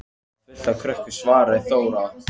Þar er fullt af krökkum, svaraði Þóra.